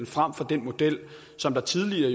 frem for den model som tidligere